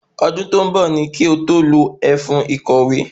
Ọdún tó ń bọ̀ ní kí o tó lo ẹfun ìkòwé